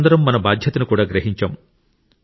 మనమందరం మన బాధ్యతను కూడా గ్రహించాం